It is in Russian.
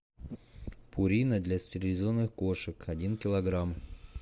пурина для стерилизованных кошек один килограмм